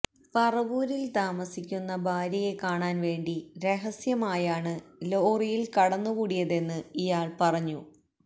പറവൂരില് താമസിക്കുന്ന ഭാര്യയെ കാണാന് വേണ്ടി രഹസ്യമായാണ് ലോറിയില് കടന്നുകൂടിയതെന്ന് ഇയാള് പറഞ്ഞു